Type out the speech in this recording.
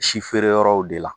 Si feere yɔrɔw de la